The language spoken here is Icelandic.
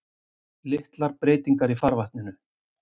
Litlar breytingar í farvatninu